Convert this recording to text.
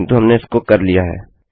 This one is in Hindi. किन्तु हमने उसको कर लिया है